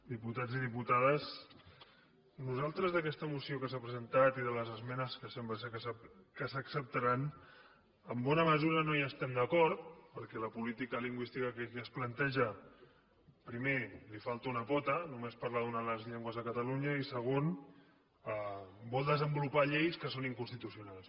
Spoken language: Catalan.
diputats i diputades nosaltres en aquesta moció que s’ha presentat i de les esmenes que sembla que s’acceptaran en bona mesura no hi estem d’acord perquè la política lingüística que aquí es planteja primer li falta una pota només parla d’una de les llengües de catalunya i segon vol desenvolupar lleis que són inconstitucionals